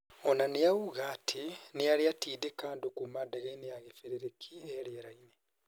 O na nĩ oiga atĩ nĩ arĩ atĩndĩka andũ kuuma ndege-inĩ ya gĩbĩrĩrĩki ĩ rĩerainĩ.